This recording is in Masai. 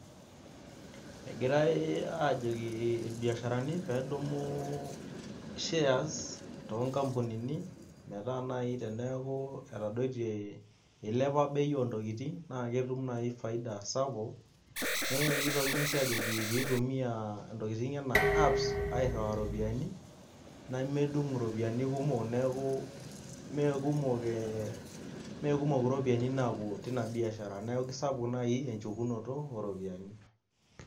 Ekirae aajoki ilbiasharani pee edumu shares toonkampunini metaa naai teneeku etadotie ilepa bei ontokitin naa ketum naaji faida sapuk, naa kitokini sii aajoki pee itumia intokitin enaa apps airrua iropiyani, nemedung iropiyani kumok neeku meekumok iropiyani napuo tenia biashara neeku kesapuk naai enchukunoto ooropiyiani.